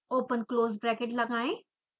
open close bracket लगाएं